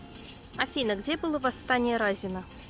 афина где было восстание разина